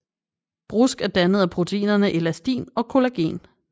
Brusk er dannet af proteinerne elastin og collagen